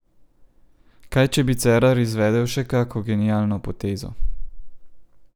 Kaj, če bi Cerar izvedel še kako genialno potezo?